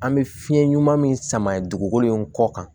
An bɛ fiɲɛ ɲuman min sama dugukolo in kɔ kan